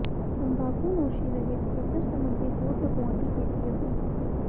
ਤੰਬਾਕੂਨੋਸ਼ੀ ਰਹਿਤ ਖੇਤਰ ਸਬੰਧੀ ਬੋਰਡ ਲਗਾਉਣ ਦੀ ਕੀਤੀ ਅਪੀਲ